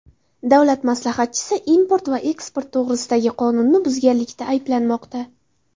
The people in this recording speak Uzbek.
Davlat maslahatchisi import va eksport to‘g‘risidagi qonunni buzganlikda ayblanmoqda.